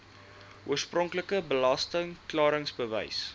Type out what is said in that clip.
oorspronklike belasting klaringsbewys